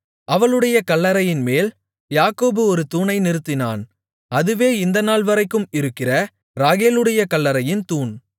அவளுடைய கல்லறையின்மேல் யாக்கோபு ஒரு தூணை நிறுத்தினான் அதுவே இந்த நாள்வரைக்கும் இருக்கிற ராகேலுடைய கல்லறையின் தூண்